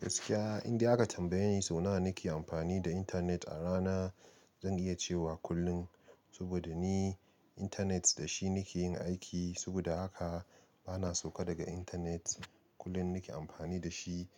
Gaskiya indai aka tambaye ni sau nawa nake amfani da intanet a rana, zan iya cewa kullum. Saboda ni, intanet da shi nake yin aiki, saboda haka bana sauka daga intanet kullum nake amfani da shi.